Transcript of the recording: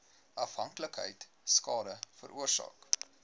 afhanklikheid skade veroorsaak